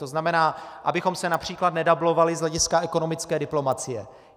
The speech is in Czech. To znamená, abychom se například nedublovali z hlediska ekonomické diplomacie.